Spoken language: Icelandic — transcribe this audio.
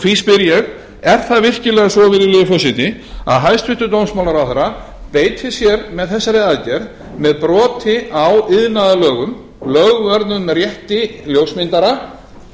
því spyr ég er það virkilega svo virðulegi forseti að hæstvirtur dómsmálaráðherra beitir sér með þessari aðgerð með broti á iðnaðarlögum lögvörðum rétti ljósmyndara